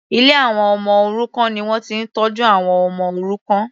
Ilé àwọn ọmọ òrukàn ni wọ́n ti ń tọ́jú àwọn ọmọ òrukàn.